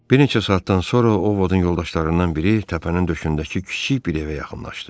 Bir neçə saatdan sonra Ovodun yoldaşlarından biri təpənin döşündəki kiçik bir evə yaxınlaşdı.